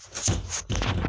Wa